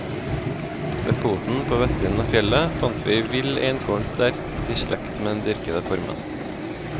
Ved foten, på vestsiden av fjellet, fant vi vill einkorn sterkt i slekt med den dyrkede formen.